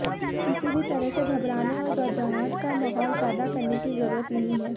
किसी भी तरह से घबराने और घबराहट का माहौल पैदा करने की ज़रूरत नहीं है